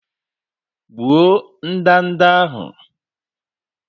Gbuo ndanda ahụ!